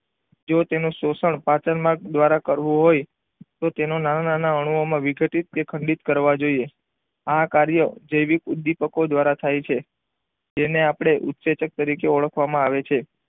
જો તેનું શોષણ પાચન માર્ગ દ્વારા કરવું હોય તો તેને નાના નાના અણુ ઓ માં વીખડીત કે ખંડિત કરવા જોઈએ આ કાર્યો જેવીક ઉદીપક દ્વારા થાય છે તેને આપણે ઊસેચક તરીકે ઓળખવામાં આવે છે.